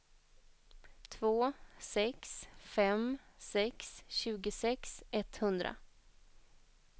två sex fem sex tjugosex etthundra